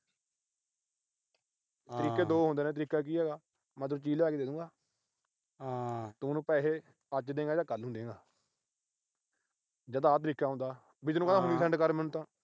ਤਰੀਕੇ ਦੋ ਹੁੰਦੇ ਨੇ। ਤਰੀਕਾ ਕੀ ਆ ਇਹਦਾ। ਮੈਂ ਦੂਜੀ ਲਿਆ ਕੇ ਦੇ ਦੂੰਗਾ। ਹਾਂ ਤੂੰ ਪੈਸੇ ਮੈਨੂੰ ਅੱਜ ਦਏਗਾ ਜਾਂ ਕੱਲ੍ਹ ਦਏਗਾ। ਜਾਂ ਤਾਂ ਆਹ ਤਰੀਕਾ ਹੁੰਦਾ। ਵੀ ਤੈਨੂੰ ਕਹਿ ਤਾਂ ਹੁਣੀ send ਕਰ ਮੈਨੂੰ ਤਾਂ।